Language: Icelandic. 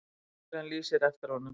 Lögregla lýsir eftir honum.